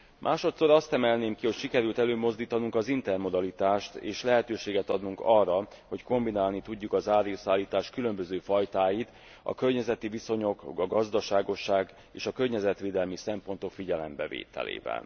Másodszor azt emelném ki, hogy sikerült előmozdítanunk az intermodalitást, és lehetőséget adnunk arra, hogy kombinálni tudjuk az áruszállítás különböző fajtáit a környezeti viszonyok, a gazdaságosság és a környezetvédelmi szempontok figyelembevételével.